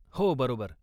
हो, बरोबर.